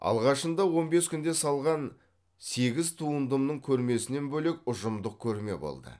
алғашында он бес күнде салған сегіз туындымның көрмесінен бөлек ұжымдық көрме болды